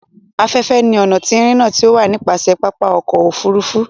Aféfé ní ọna ti irinna ti o wa nipasẹ papa ọkọ ofurufu.